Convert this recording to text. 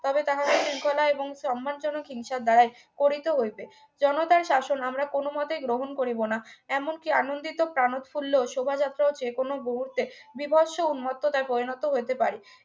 তবে তাহাদের শৃঙ্খলা এবং সম্মানজনক হিংসার দ্বারাই করিতে হইবে জনতার শাসন আমরা কোনোমতেই গ্রহণ করিব না এমনকি আনন্দিত প্রাণোৎফুল্ল ও শোভাযাত্রা যেকোনো মুহূর্তে বিভৎস্য উন্মোত্ত্বতার পরিণত হইতে পারে